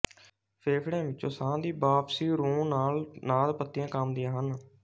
ਫੇਫੜਿਆਂ ਵਿਚੋਂ ਸਾਹ ਦੀ ਵਾਪਸੀ ਰੌਂ ਨਾਲ ਨਾਦ ਪੱਤੀਆਂ ਕੰਬਦੀਆਂ ਹਨ